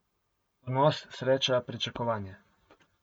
Ponos, sreča, pričakovanje ...